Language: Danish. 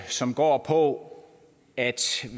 som går på at